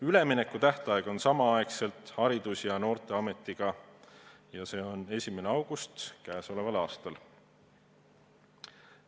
Üleminekutähtaeg on sama mis Haridus- ja Noorteameti puhul, see on 1. august käesoleval aastal.